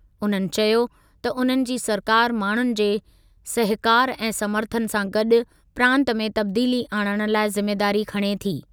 उन्हनि चयो त उन्हनि जी सरकारि माण्हुनि जे सहकारु ऐं समर्थनु सां गॾु प्रांत में तब्दीली आणण लाइ ज़िमेदारी खणे थी।